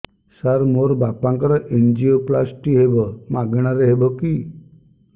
ସାର ମୋର ବାପାଙ୍କର ଏନଜିଓପ୍ଳାସଟି ହେବ ମାଗଣା ରେ ହେବ କି